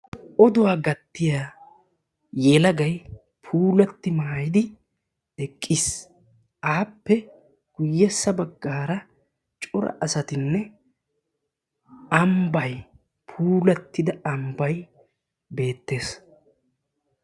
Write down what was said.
Oduwa gattiya yelagay puulatti maayidi eqqis appe guyyessa baggaara cora asatinne ambay puulattida ambay beettes.